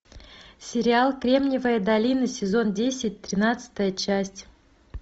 сериал кремниевая долина сезон десять тринадцатая часть